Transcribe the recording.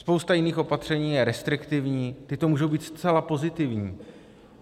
Spousta jiných opatření je restriktivních, tato můžou být zcela pozitivní.